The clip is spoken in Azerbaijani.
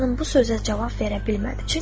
Sabah xanım bu sözə cavab verə bilmədi.